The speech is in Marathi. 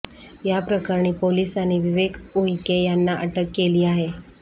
या प्रकरणी पोलिसांनी विवेक उईके यांना अटक केली आहे